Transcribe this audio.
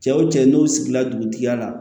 Cɛw cɛ n'u sigila dugutigiya la